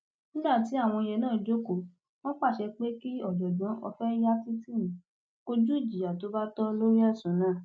nígbà tí àwọn yẹn náà jókòó wọn pàṣẹ pé kí ọjọgbọn ọfẹyàtìtìmì kọjú ìjìyà tó bá tọ lórí ẹsùn náà